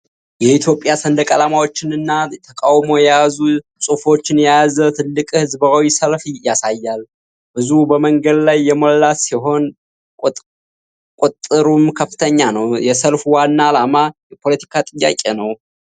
የኢትዮጵያ ሰንደቅ ዓላማዎችን እና ተቃውሞ የያዙ ጽሑፎችን የያዘ ትልቅ ሕዝባዊ ሰልፍ ያሳያል። ሕዝቡ በመንገድ ላይ የሞላ ሲሆን ቁጥሩም ከፍተኛ ነው። የሰልፉ ዋና ዓላማ የፖለቲካ ጥያቄ ነው?